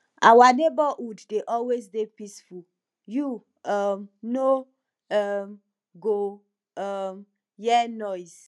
our neighborhood dey always dey peaceful you um no um go um hear noise